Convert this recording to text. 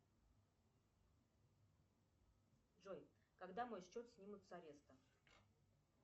джой когда мой счет снимут с ареста